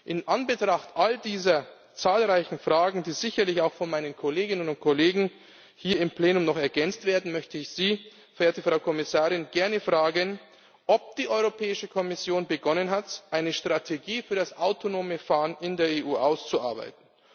In Anbetracht all dieser zahlreichen Fragen, die sicherlich auch von meinen Kolleginnen und Kollegen hier im Plenum noch ergänzt werden, möchte ich Sie, verehrte Frau Kommissarin, gerne fragen, ob die Europäische Kommission begonnen hat, eine Strategie für das autonome Fahren in der EU auszuarbeiten.